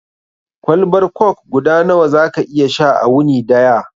Kwalbar kok guda nawa za ka iya sha a wuni daya?